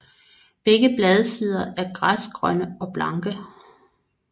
Begge bladsider er græsgrønne og blanke